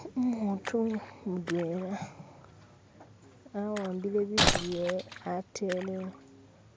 umutu mudwela awambile bitu byewe atele